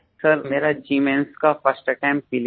college की पढाई sir मेरा जी मेन्स का फर्स्ट अटेम्प्ट